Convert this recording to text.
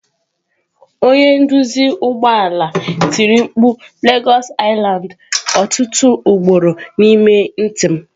Onye nduzi ụgbọ ala tiri mkpu lagos lsland! Ọtụtụ ugboro N'ime ntị m.